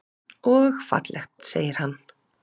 Og fallegt, segir hann.